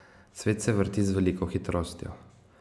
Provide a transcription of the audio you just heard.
Svet se vrti z veliko hitrostjo.